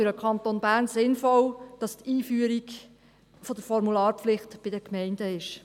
Für den Kanton Bern ist es sinnvoll, dass die Einführung der Formularpflicht bei den Gemeinden liegt.